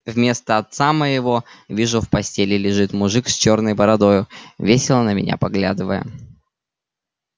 вместо отца моего вижу в постеле лежит мужик с чёрной бородою весело на меня поглядывая